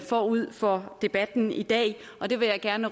forud for debatten i dag og det vil jeg gerne